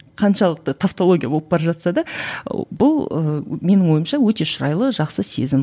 қаншалықты тавтология болып бара жатса да бұл ыыы менің ойымша өте шырайлы жақсы сезім